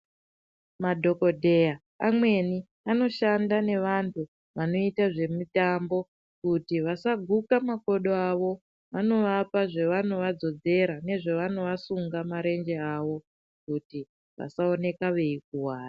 Madhokodheya amweni anoshanda nevantu vanoite zvemitambo kuti vasaguke makodo avo vanovapa zvavanovadzodzera nezvavanovasunga marenje avo kuti vasaoneka veikuwara.